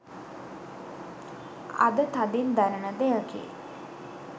අද තදින් දැනෙන දෙයකි.